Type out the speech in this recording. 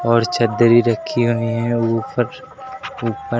और चदरी रखी हुई है ऊपर ऊपर--